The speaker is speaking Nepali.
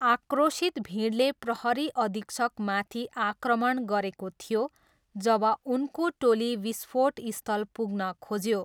आक्रोशित भिडले प्रहरी अधीक्षकमाथि आक्रमण गरेको थियो जब उनको टोली विस्फोटस्थल पुग्न खोज्यो।